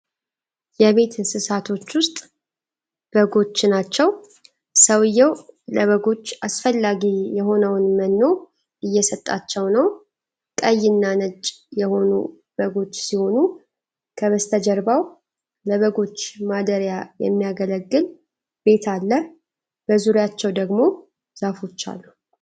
የቤት እንስሳቶች ውስጥ በጎች ናቸው። ሰውየው ለበጎች አስፈላጊ የሆነውን መኖ እየሰጣቸው ነው። ቀይ እና ነጭ የሆኑ በጎች ሲሆኑ ከበሰተጀርባቸው ለበጎች ማደሪያ የሚያገለግል ቤት አለ። በዙሪያቸው ደግሞ ዛፎች አሉ።